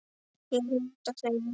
Ég nota þau mikið.